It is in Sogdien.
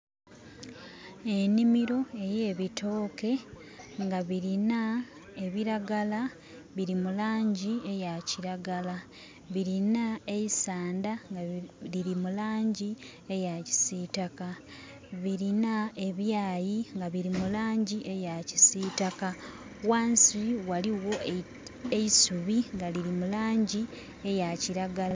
Enimiro eye bitooke nga birina ebiragala biri mulangi eya kiragala, birina eisanda nga liri mulangi eya kisitaka, birina ebyayi birimulangi eya kisitaka, wansi waliwo eisubi nga liri mulangi eya kiragala.